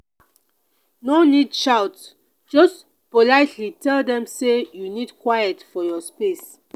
no need shout just politely tell dem say you need quiet for your space.